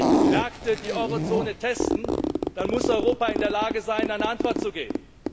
Wenn die Märkte die Eurozone testen, dann muss Europa in der Lage sein, eine Antwort zu geben.